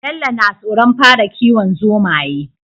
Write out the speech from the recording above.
Bello na tsoron fara kiwon zomaye